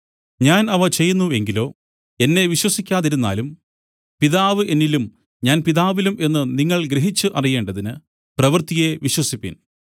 ഞാൻ അവ ചെയ്യുന്നു എങ്കിലോ എന്നെ വിശ്വസിക്കാതിരുന്നാലും പിതാവ് എന്നിലും ഞാൻ പിതാവിലും എന്നു നിങ്ങൾ ഗ്രഹിച്ചു അറിയേണ്ടതിന് പ്രവൃത്തിയെ വിശ്വസിപ്പിൻ